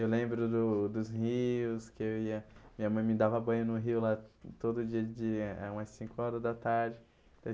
Eu lembro do dos rios, que eu ia... Minha mãe me dava banho no rio lá todo dia, de eh umas cinco horas da tarde.